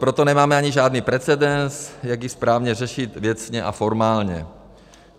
Proto nemáme ani žádný precedens, jak ji správně řešit věcně a formálně.